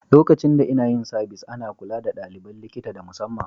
Lokacin da inna yin sabis, ana kulla da dalibain likita da musamman.